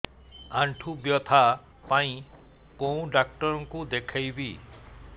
ଆଣ୍ଠୁ ବ୍ୟଥା ପାଇଁ କୋଉ ଡକ୍ଟର ଙ୍କୁ ଦେଖେଇବି